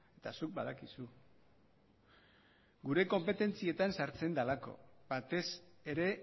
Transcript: eta zuk badakizu gure konpetentzietan sartzen delako batez ere